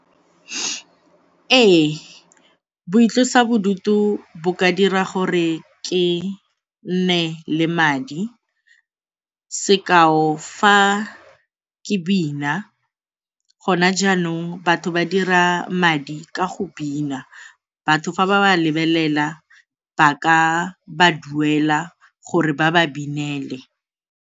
Ee, boitlosa bodutu bo ka dira gore ke nne le madi sekao, fa ke bina, gona jaanong batho ba dira madi ka go bina. Batho fa ba ba lebelela ba ka ba duela gore ba ba binele.